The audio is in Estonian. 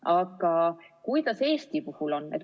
Aga kuidas Eesti puhul on?